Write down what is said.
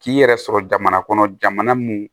K'i yɛrɛ sɔrɔ jamana kɔnɔ jamana mun